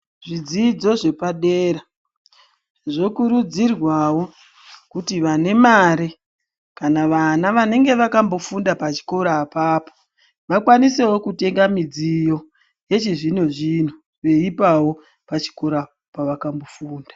Zvidzidzo zvepadera, zvokurudzirwawo kuti vane mare ,kana vana vanenge vakambofunda pachikora apapo, vakwanisewo kutenga midziyo, yechizvino-zvino veipawo pachikora pavakambofunda.